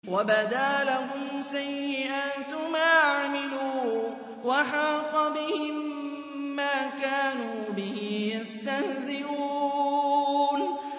وَبَدَا لَهُمْ سَيِّئَاتُ مَا عَمِلُوا وَحَاقَ بِهِم مَّا كَانُوا بِهِ يَسْتَهْزِئُونَ